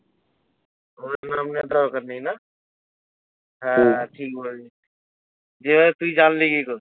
ওদের নাম নেয়ার দরকার নেই না? হ্যাঁ হ্যাঁ ঠিক বলেছিস, যদি বলে তুই জানলি কি করে?